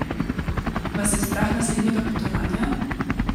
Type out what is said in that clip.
Vas je strah naslednjega potovanja?